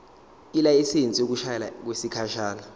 ilayisensi yokushayela okwesikhashana